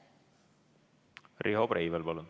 Riho Breivel, palun!